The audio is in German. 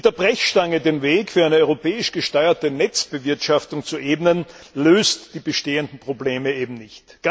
Mit der Brechstange den Weg für eine europäisch gesteuerte Netzbewirtschaftung zu ebnen, löst die bestehenden Probleme eben nicht.